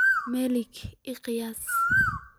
Malay iiqiyas.